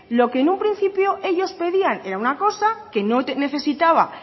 lo que en un principio ellos pedían era una cosa que no necesitaba